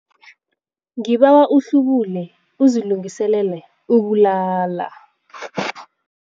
Ngibawa uhlubule uzilungiselele ukulala.